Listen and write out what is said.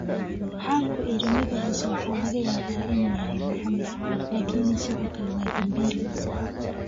Waxaan ku idhi: 'Magaciisa waxaa laga yaabaa inuu yahay Maxamed, laakiin sidoo kale waa dambiile!